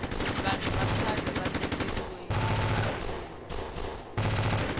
vahnu va khale va tekeriwe rifumo